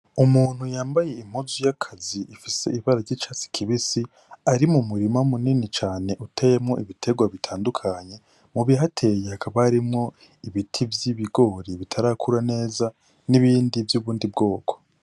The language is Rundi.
Umuntu yambaye impuzu y' akazi ifise ibara ry' icatsi kibisi ari mumurima mumurima munini cane uteyemwo ibitegwa bitandukanye mubihateye hakaba harimwo ibiti vy' ibigori bitarakura neza nibindi vy' ubundi bwoko.